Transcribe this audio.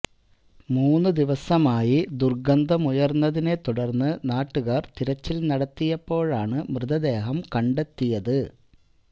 മൂന്നു ദിവസമായി ദുര്ഗന്ധമുയര്ന്നതിനെ തുടര്ന്നു നാട്ടുകാര് തിരച്ചില് നടത്തിയപ്പോഴാണ് മൃതദേഹം കണ്ടെത്തിയത്